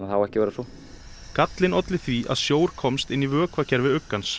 á ekki að vera svo gallinn olli því að sjór komst inn í vökvakerfi